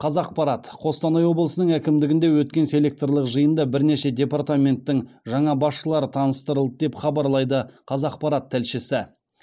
қазақпарат қостанай облысының әкімдігінде өткен селекторлық жиында бірнеше департаменттің жаңа басшылары таныстырылды деп хабарлайды қазақпарат тілшісі